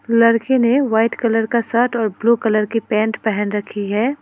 लड़के ने white colour का शर्ट और ब्लू कलर की पेंट पेहन रखी है।